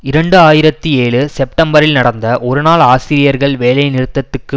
இரண்டு ஆயிரத்தி ஏழு செப்டெம்பரில் நடந்த ஒரு நாள் ஆசிரியர்கள் வேலை நிறுத்தத்துக்கு